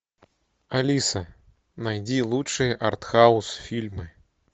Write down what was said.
алиса найди лучшие артхаус фильмы